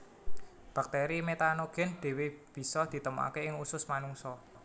Bakteri metanogen dewe bisa ditemokake ing usus manungsa